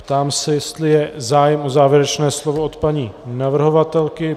Ptám se, jestli je zájem o závěrečné slovo od paní navrhovatelky.